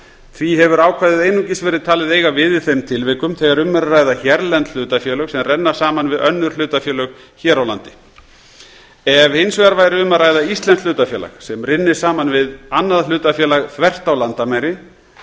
því hefur ákvæðið einungis verið talið eiga við í þeim tilvikum þegar um er að ræða hérlend hlutafélög sem renna saman við önnur hlutafélög hér á landi ef hins vegar væri um að ræða íslenskt hlutafélag sem rynni saman við annað hlutafélag þvert á landamæri er